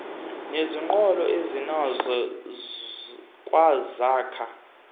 neziqholo azinazo kwazakha